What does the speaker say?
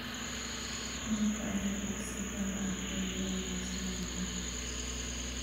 Hilibka arigu si gaar ah ayuu u wanaagsan yahay.